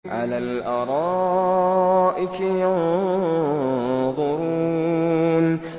عَلَى الْأَرَائِكِ يَنظُرُونَ